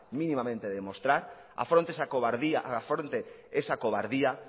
minimamente de demostrar afronte esa cobardía